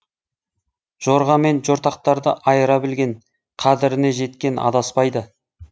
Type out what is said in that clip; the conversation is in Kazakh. жорға мен жортақтарды айыра білген қадіріне жеткен адаспайды